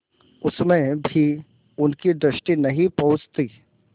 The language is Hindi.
उसमें भी उनकी दृष्टि नहीं पहुँचती